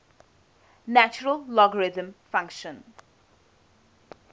natural logarithm function